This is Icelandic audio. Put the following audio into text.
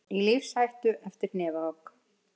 Í lífshættu eftir hnefahögg